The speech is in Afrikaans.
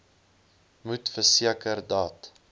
moet verseker dat